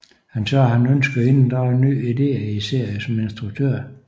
Han sagde at han ønskede at inddrage nye ideer i serien som instruktør